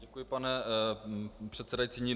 Děkuji, pane předsedající.